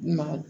Maa